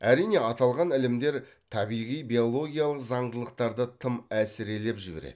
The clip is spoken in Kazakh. әрине аталған ілімдер табиғи биологиялық заңдылықтарды тым әсірелеп жібереді